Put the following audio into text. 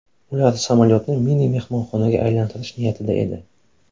Ular samolyotni mini mehmonxonaga aylantirish niyatida edi.